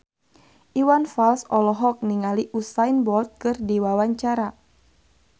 Iwan Fals olohok ningali Usain Bolt keur diwawancara